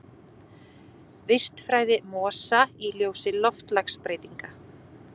Vistfræði mosa í ljósi loftslagsbreytinga.